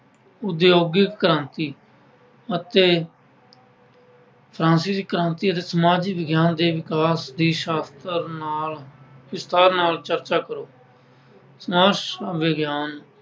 ਉਦਯੋਗਿਕ ਕ੍ਰਾਂਤੀ ਅਤੇ ਸੰਸਕ੍ਰਿਤਿਕ ਕ੍ਰਾਂਤੀ ਅਤੇ ਸਮਾਜ ਵਿਗਿਆਨ ਦੇ ਦੀ ਸ਼ਾਸਤਰ ਨਾਲ ਅਹ ਵਿਸਥਾਰ ਨਾਲ ਚਰਚਾ ਕਰੋ। ਸਮਾਜ ਵਿਗਿਆਨ